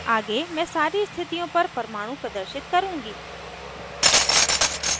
आगे मैं सारी स्थितियों पर परमाणु प्रदर्शित करुँगी